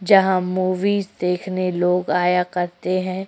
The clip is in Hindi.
जहाँ मूवीज देखने लोग आया करते हैं।